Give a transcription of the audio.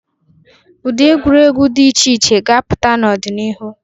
Ụdị egwuregwu dị iche iche ga-apụta n'ọdịnihu.